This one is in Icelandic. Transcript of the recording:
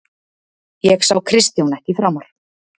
Ég sá Kristján ekki framar.